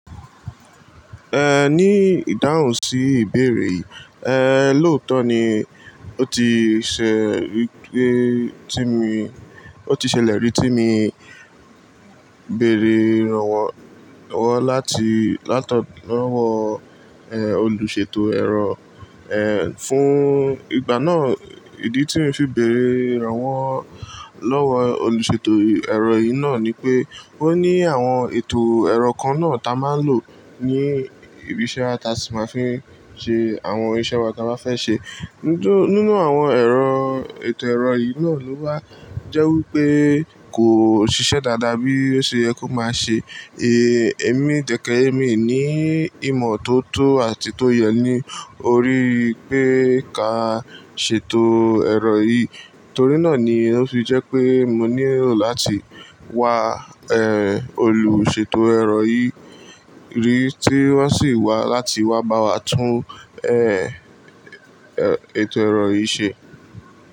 Eh, ní ìdáhùn sí ìbéèrè yìí, eh, lóòótọ́ ni ó ti ṣẹ rí pé tí mi, ó ti ṣẹlẹ̀ rí tí mi béèrè ìrànwọ́, ìrànwọ́ láti, látọ̀ lọwọ eh, olùṣètò ẹ̀rọ, eh, fún ìgbà náà ìdí tí mo fi béèrè ìrànwọ́ lọ́wọ́ olùṣètò ẹ̀rọ yìí náà ni pé ó ní àwọn ètò ẹ̀rọ kan náà ta máa ń lò ní ibi iṣẹ́ a si máa ń fi ń ṣe àwọn iṣẹ́ wa ka bá fẹ́ ṣe. Nítorí nínú àwọn ẹ̀rọ ètò ẹ̀rọ yìí náà ló wà jẹ́ wí pé kò ṣiṣẹ́ dáadáa bí ó ṣe yẹ kó máa ṣe, eh, èmi dẹ̀kẹ́ èmi ni ìmọ̀ tó tó àti tó yẹ ní oríi pé ká ṣètò ẹ̀rọ yìí. Torí náà ni ó fi jẹ́ pé mo nílò láti wá, eh, olùṣètò ẹ̀rọ yìí rí tí wọ́n sì wá láti wá bá wa tún, eh, ètò ẹ̀rọ yìí ṣe.